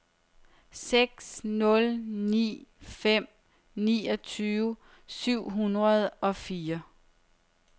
seks nul ni fem niogtyve syv hundrede og fire